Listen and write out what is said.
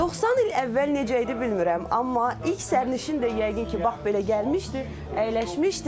90 il əvvəl necə idi bilmirəm, amma ilk sərnişin də yəqin ki, bax belə gəlmişdi, əyləşmişdi.